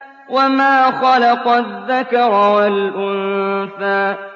وَمَا خَلَقَ الذَّكَرَ وَالْأُنثَىٰ